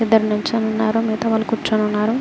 ఇద్దరు నీచోని ఉన్నారు ఇద్దరు కుచోని ఉన్నారు.